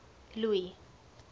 louis